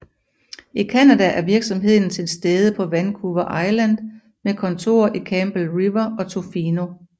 I Canada er virksomheden tilstede på Vancouver Island med kontorer i Campbell River og Tofino